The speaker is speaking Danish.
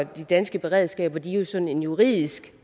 de danske beredskaber jo sådan juridisk